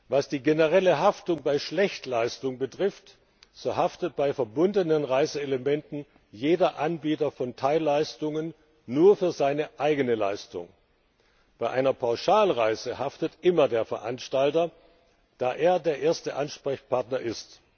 Was die generelle Haftung bei Schlechtleistung betrifft, so haftet bei verbundenen Reiseelementen jeder Anbieter von Teilleistungen nur für seine eigene Leistung. Bei einer Pauschalreise haftet immer der Veranstalter, da er der erste Ansprechpartner ist.